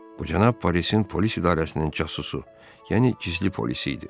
Bu cənab polisin polis idarəsinin casusu, yəni gizli polisi idi.